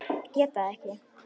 Geta það ekki.